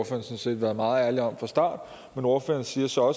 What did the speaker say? sådan set være meget ærlig om fra start men ordføreren siger så